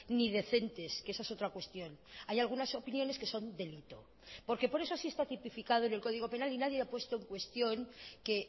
ni decentes que esa es otra cuestión hay algunas opiniones que son delito porque por eso sí está tipificado en el código penal y nadie ha puesto en cuestión que